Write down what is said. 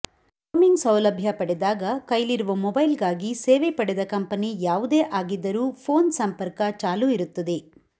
roaming ಸೌಲಭ್ಯ ಪಡೆದಾಗ ಕೈಲಿರುವ ಮೊಬೈಲಗಾಗಿ ಸೇವೆ ಪಡೆದ ಕಂಪೆನಿ ಯಾವುದೇ ಆಗಿದ್ದರೂ ಪೋನ್ ಸಂಪರ್ಕ ಚಾಲೂ ಇರುತ್ತದೆ